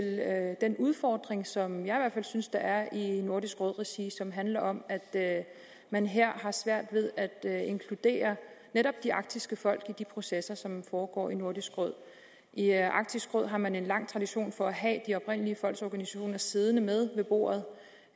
den udfordring som jeg i hvert fald synes der er i nordisk råd regi og som handler om at man her har svært ved at inkludere netop de arktiske folk i de processer som foregår i nordisk råd i arktisk råd har man en lang tradition for at have de oprindelige folks organisationer siddende med ved bordet